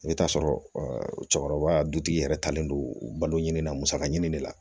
I bɛ t'a sɔrɔ cɛkɔrɔba dutigi yɛrɛ talen don balo ɲini na musaka ɲini de la